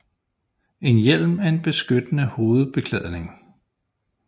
En hjelm er en beskyttende hovedbeklædning